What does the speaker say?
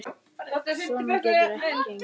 Svona getur þetta ekki gengið.